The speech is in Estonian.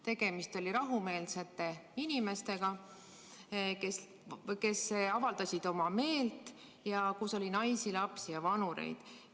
Tegemist oli rahumeelsete inimestega, kes avaldasid oma meelt, ja kus oli naisi, lapsi ja vanureid.